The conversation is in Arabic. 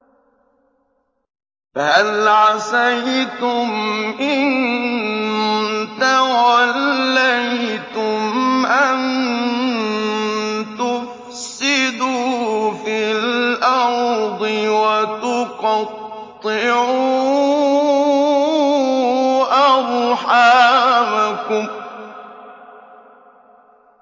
فَهَلْ عَسَيْتُمْ إِن تَوَلَّيْتُمْ أَن تُفْسِدُوا فِي الْأَرْضِ وَتُقَطِّعُوا أَرْحَامَكُمْ